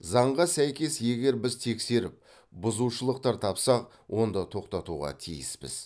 заңға сәйкес егер біз тексеріп бұзушылықтар тапсақ онда тоқтатуға тиіспіз